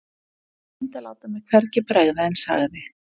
Ég reyndi að láta mér hvergi bregða en sagði